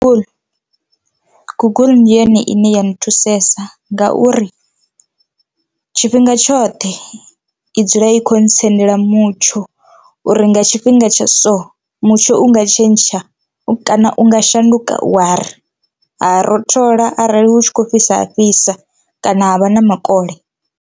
Google ndi yone ine ya ni thusesa ngauri tshifhinga tshoṱhe i dzula i khou ntsendela mutsho uri nga tshifhinga tsha so mutsho unga tshentsha, kana unga shanduka wa ri ha rothola arali hu tshi kho fhisa ha fhisa kana ha vha na makole.